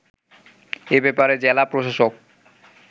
এ ব্যাপারে জেলা প্রশাসক